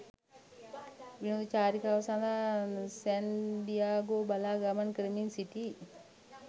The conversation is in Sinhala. විනෝද චරිකාව සඳහා සැන් දියාගෝ බලා ගමන් කරමින් සිටි.